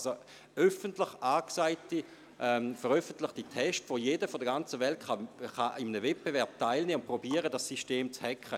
Dies sind öffentlich angekündigte Tests, bei denen jeder aus der ganzen Welt teilnehmen und im Rahmen eines Wettbewerbs versuchen kann, dieses System zu hacken.